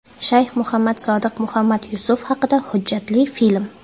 Shayx Muhammad Sodiq Muhammad Yusuf haqida hujjatli film.